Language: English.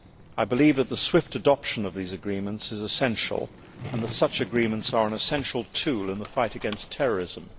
I believe that the swift adoption of these agreements is essential and that such agreements are an essential tool in the fight against terrorism.